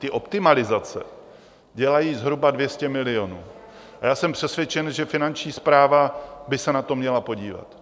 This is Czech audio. Ty optimalizace dělají zhruba 200 milionů a já jsem přesvědčen, že Finanční správa by se na to měla podívat.